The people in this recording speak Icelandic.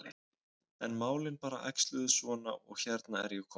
En málin bara æxluðust svona og hérna er ég komin.